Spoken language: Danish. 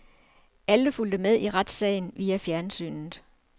Alle fulgte med i retssagen via fjernsynet.